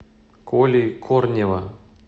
коли корнева